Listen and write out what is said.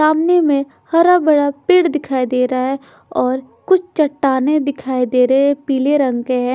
सामने में हरा बड़ा पेड़ दिखाई दे रहा है और कुछ चट्टानें दिखाई दे रहे हैं पीले रंग के हैं।